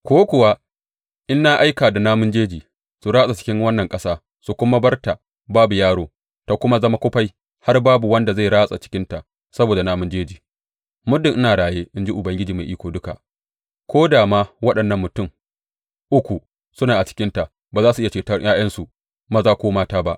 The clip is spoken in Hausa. Ko kuwa in na aika da namun jeji su ratsa cikin wannan ƙasa suka kuma bar ta babu yaro, ta kuma zama kufai har babu wanda zai ratsa cikinta saboda namun jeji, muddin ina raye, in ji Ubangiji Mai Iko Duka, ko da ma waɗannan mutum uku suna a cikinta, ba za su iya ceton ’ya’yansu maza ko mata ba.